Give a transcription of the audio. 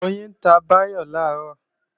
Oyin ta Báyọ̀ làárọ̀